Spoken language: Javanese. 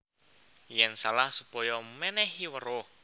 Yèn salah supaya mènèhi weruh